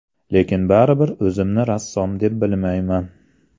Lekin baribir o‘zimni rassom deb bilmayman.